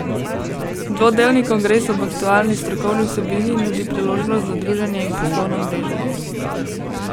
Dvodnevni kongres ob aktualni strokovni vsebini nudi priložnost za druženje in poslovno mreženje.